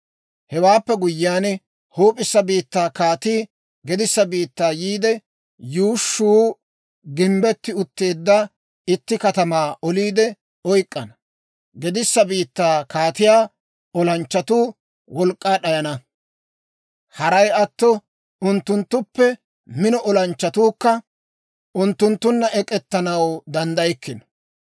«Hewaappe guyyiyaan, huup'issa biittaa kaatii gedissa biittaa yiide, yuushshuu gimbbetti utteedda itti katamaa oliide oyk'k'ana. Gedissa biittaa kaatiyaa olanchchatuu wolk'k'aa d'ayana; haray atto unttunttuppe mino olanchchatuukka unttunttunna ek'ettanaw danddaykkino.